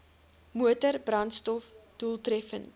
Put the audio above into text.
motor brandstof doeltreffend